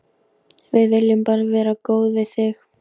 Við viljum bara vera góð við þig.